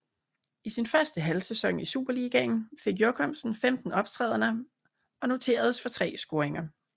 I sin første halvsæson i Superligaen fik Jochumsen 15 optrædener og noteredes for tre scoringer